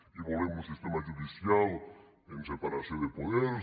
i volem un sistema judicial amb separació de poders